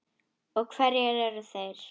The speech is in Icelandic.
Og hverjir eru þeir?